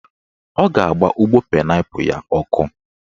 Ọ ga-agba ụgbọ painaipu ya ọkụ